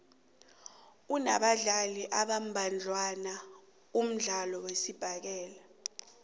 unabadlali abambadlwana umdlalo wesibhakela